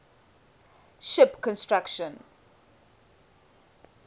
ship construction